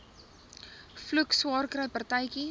vloek swaarkry partytjie